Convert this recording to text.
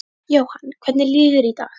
Jóhann: Hvernig líður þér í dag?